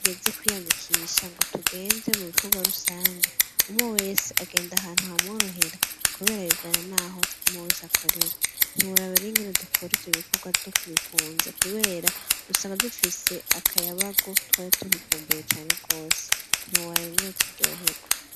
Igeze kwiyandikisha ngo tugenze mu rukorwa rusange umwe wese agenda ahantu ha mworohera, kubera bivana, naho mowesi akorera ntiwuraboraringene dukore ije ibikorwa vyo kubikunza, kubera rusanga dufise akayabago twari tubikumbuye cane rwose nti wobarawe ingene turyoherwo.